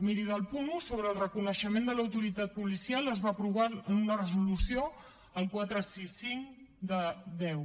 miri del punt un sobre el reconeixement de l’autoritat policial es va aprovar una resolució la quatre cents i seixanta cinc x